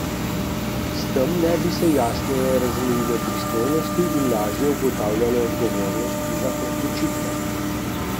S tem naj bi se jasneje razmejile pristojnosti in lažje ugotavljalo odgovornost za odločitve.